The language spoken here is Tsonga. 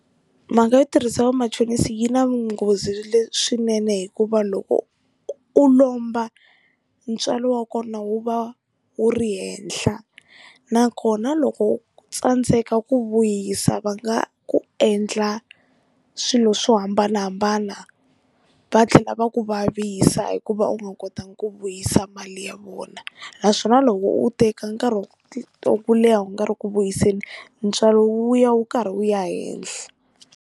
Mhaka yo tirhisa va machonisi yi na nghozi leswinene hikuva loko u lomba ntswalo wa kona wu va wu ri henhla nakona loko u tsandzeka ku vuyisa va nga ku endla swilo swo hambanahambana va tlhela va ku vavisa hikuva u nga kotangi ku vuyisa mali ya vona naswona loko u teka nkarhi wa ku leha u nga ri ku vuyiseni ntswalo wu ya wu karhi wu ya henhla.